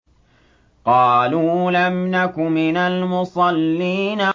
قَالُوا لَمْ نَكُ مِنَ الْمُصَلِّينَ